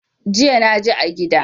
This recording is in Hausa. Jiya naji a gida.